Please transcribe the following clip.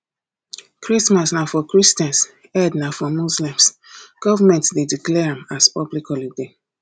christmas na for christians eid na for muslisms government de declare am as public holiday